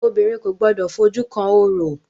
Obìnrin kò gbọdọ̀ fojú kan orò!